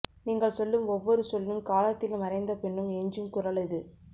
நீங்கள் சொல்லும் ஒவ்வொரு சொல்லும் காலத்தில் மறைந்தபின்னும் எஞ்சும் குரல் இது